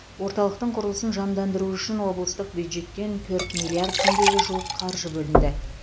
орталықтың құрылысын жандандыру үшін облыстық бюджеттен төрт миллиард теңгеге жуық қаржы бөлінді